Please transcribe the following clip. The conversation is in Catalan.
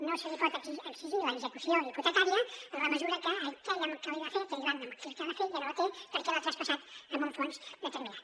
no se li pot exigir l’execució hipotecària en la mesura que aquell que l’hi va fer aquell banc amb el que la va fer ja no la té perquè l’ha traspassat a un fons determinat